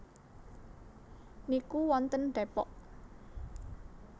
niku wonten Depok